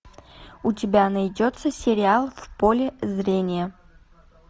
у тебя найдется сериал в поле зрения